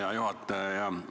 Hea juhataja!